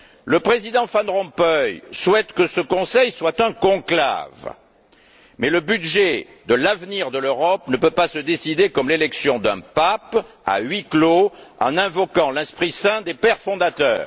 Le Président Van Rompuy souhaite que ce Conseil soit un conclave, mais le budget de l'avenir de l'Europe ne peut pas se décider comme l'élection d'un pape, à huis clos, en invoquant l'esprit saint des pères fondateurs.